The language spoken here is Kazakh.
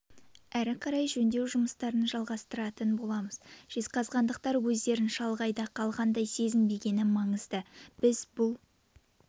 әрі қарай жөндеу жұмыстарын жалғастыратын боламыз маған жезқазғандықтар өздерін шалғайда қалғандай сезінбегені маңызды біз бұл